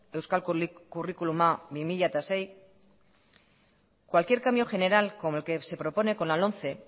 euskal curriculuma bi mila sei cualquier cambio general como el que se propone con la lomce